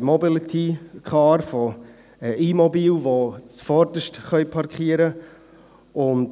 Mobility, von E-Mobilen, die zuvorderst parkieren können.